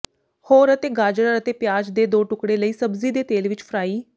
ੋਹਰ ਅਤੇ ਗਾਜਰ ਅਤੇ ਪਿਆਜ਼ ਦੇ ਦੋ ਟੁਕੜੇ ਲਈ ਸਬਜ਼ੀ ਦੇ ਤੇਲ ਵਿੱਚ ਫਰਾਈ